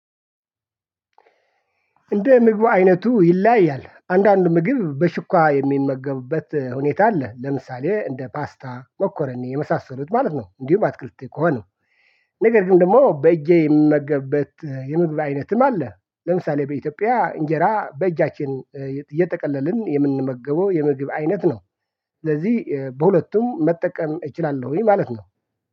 እንደ ምግብ አይነቱ ይለያያል አንዳንድ ምግብ በሹኳ የሚመገቡበት ሁኔታ አለ ለምሳሌ እንደ ፓስታ ሞኮረኒ የመሳሰሉት ማለት ነው። እንዲሁ በአትክልቴ ከሆነ ነገር ግን ደግሞ በእጄ የምነገብበት የምግብ አይነትም አለ። ለምሳሌ በኢትዮጵያ እንጀራ በእጃችን እየተጠቀለልን የምንመገበው የምግብ አይነት ነው። ስለዚህ በሁለቱም መጠቀም እችላለሁኝ ማለት ነው